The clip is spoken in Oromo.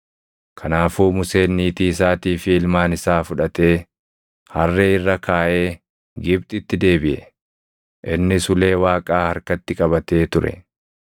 Kanaafuu Museen niitii isaatii fi ilmaan isaa fuudhatee harree irra kaaʼee Gibxitti deebiʼe. Innis ulee Waaqaa harkatti qabatee ture.